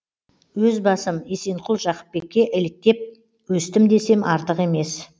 өз басым есенқұл жақыпбекке еліктем өстім десем артық емес